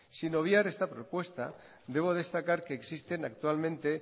sin obviar esta propuesta debo destacar que existen actualmente